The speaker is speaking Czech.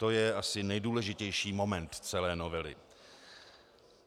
To je asi nejdůležitější moment celé novely.